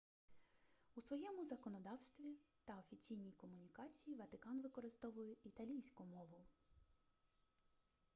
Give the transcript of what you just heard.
у своєму законодавстві та офіційній комунікації ватикан використовує італійську мову